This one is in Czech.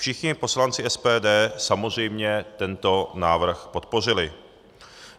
Všichni poslanci SPD samozřejmě tento návrh podpořili.